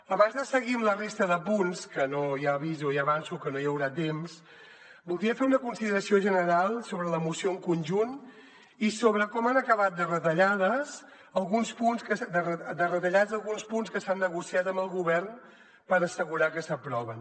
abans de seguir amb la resta de punts que ja aviso i avanço que no hi haurà temps voldria fer una consideració general sobre la moció en conjunt i sobre com han acabat de retallats alguns punts que s’han negociat amb el govern per assegurar que s’aproven